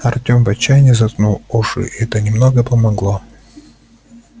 артём в отчаянии заткнул уши и это немного помогло